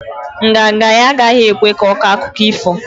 Nganga nga ya agaghi ekwe ko akụkọ ifo